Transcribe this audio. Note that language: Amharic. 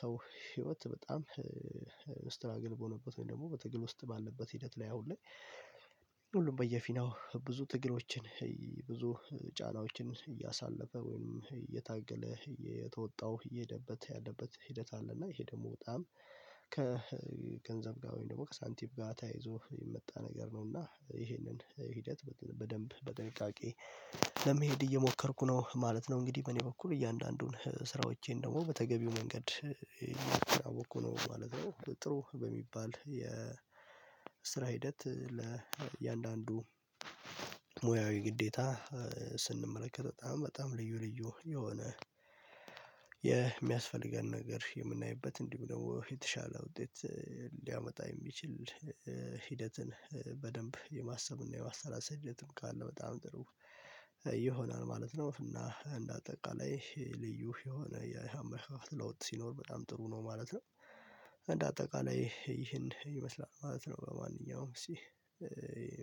ሰው ህይወት በጣም ስትራግል በሆነበት ወይም ደግሞ በትግል ውስጥ ባለበት ሂደት ላይ አሁን ላይ ሁሉም በየፊናው ብዙ ትግሎችን ብዙ ጫናዎችን እያሳለፈ ወይም እየታገለ እየተወጣው እየሄደበት ያለበት ሂደት አለ እና ይሄ ደግሞ በጣም ከገንዘብ ጋር ወይም ደግሞ ከሳንቲም ጋር ተያይዞ የመጣ ነገር ነው እና ይሄንን ሂደት በደንብ በጥንቃቄ ለመሄድ እየሞከርኩ ነው ማለት ነው። እንግዲህ በኔ በኩል እያንዳንዱን ስራዎቼን ደግሞ በተገቢው መንገድ እያወቅኩ ነው ማለት ነው። ጥሩ በሚባል የስራ ሂደት ለእያንዳንዱ ሙያዊ ግዴታ ስንመለከት በጣም በጣም ልዩ ልዩ የሆነ የሚያስፈልገንን ነገር የምናይበት እንዲሁ ደግሞ የተሻለ ውጤት ሊያመጣ የሚችል ሂደትን በደንብ የማሰብና የማሰላሰል ሂደትም ካለ በጣም ጥሩ ይሆናል ማለት ነው እና እንደ አጠቃላይ ልዩ የሆነ የአመለካከት ለውጥ ሲኖር በጣም ጥሩ ነው ማለት ነው። እንደ አጠቃላይ ይህን ይመስላል ማለት ነው። ለማንኛውም እስቲ